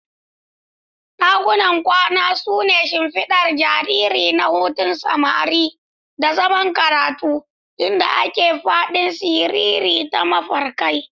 Dakunan kwana su ne shimfiɗar jariri na hutun samari da zaman karatu, inda ake faɗin sirri da mafarkai.